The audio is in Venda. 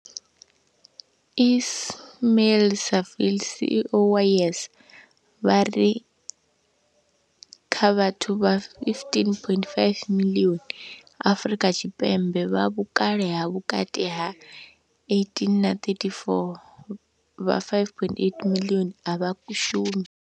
Ismail-Saville CEO wa YES, vha ri kha vhathu vha 15.5 miḽioni Afrika Tshipembe vha vhukale ha vhukati ha 18 na 34, vha 5.8 miḽioni a vha shumi.